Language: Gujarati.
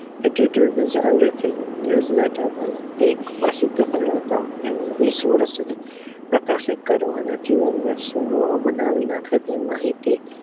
It is why everything news palet વિસ વર્ષ સુધી પ્રકાશિત કરો અને જીવન ને સુંદર બનાવીં રાખે તે માહિતી